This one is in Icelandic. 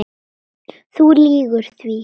Þú lýgur því